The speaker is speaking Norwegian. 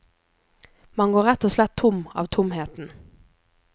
Man går rett og slett tom av tomheten.